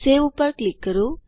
save ઉપર click કરો